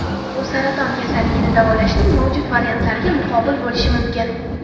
u saraton kasalligini davolashning mavjud variantlariga muqobil bo‘lishi mumkin.